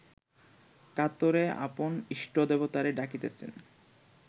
কাতরে আপন ইষ্টদেবতাকে ডাকিতেছেন